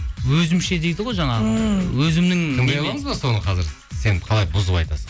өзімше дейді ғой жаңағы ммм өзімнің тыңдай аламыз ба соны қазір сен қалай бұзып айтасың